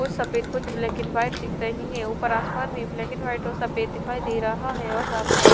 कुछ सफेद कुछ ब्लैक एंड व्हाइट दिख रही है ऊपर आसमान में ब्लैक एंड व्हाइट और सफेद दिखाई दे रहा है और सामने एक--